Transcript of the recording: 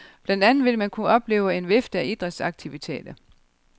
Blandt andet vil man kunne opleve en vifte af idrætsaktiviteter.